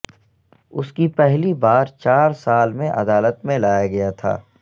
اس کی پہلی بار چار سال میں عدالت میں لایا گیا تھا